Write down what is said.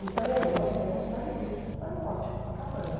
Então, minha mãe, nós vamos para o rio, para o Forte Copacabana.